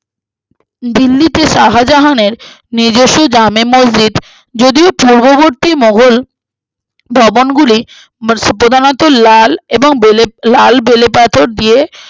দিল্লিতে শাহজাহানের নিজস্ব জামে মসজিদ যদিও পূর্ববর্তী মোঘল ভবনগুলি প্রধানত লাল এবং বেলে লাল পাথর দিয়ে